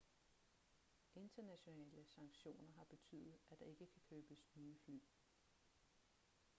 internationale sanktioner har betydet at der ikke kan købes nye fly